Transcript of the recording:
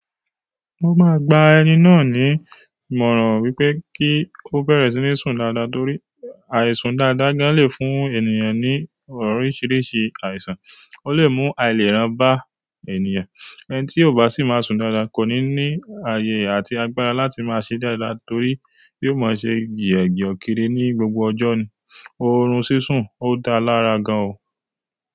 Mo máa gba ẹni náà ní ìmọ̀ràn wípé kí ó bẹ̀rẹ̀ sí ní sùn dáadáa torí àìsùn dáadáa gan lè fún ènìyàn ní oríṣiríṣi àìsàn, ó lè mú àìlera bá ènìyàn. Ẹni tí ò bá sì máa sùn dáadáa kò ní ní ayé àti agbára láti máa ṣe dáadáa torí yóò máa ṣe jìẹ̀jìọ kiri ní gbogbo ọjọ́ ni. Oorun sísùn ò dáa lára gan o.